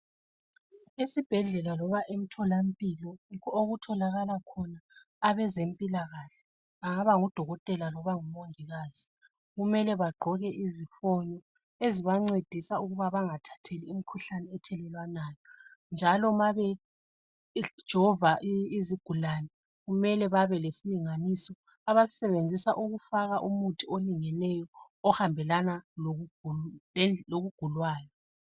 esibhedlela loba emtholampilo okutholakala khona abezempilakahle angaba ngudokotela loba umongikazi kumele bagqoke izifonyo ezibancedisa ukuba bgathathi imikhuhlane ethelelwanayo njalo ma bejova izigulane kumele babe lesilinganiso abasisebenzisa ukufaka umuthi olingeneyo ohambelana lokugulwayo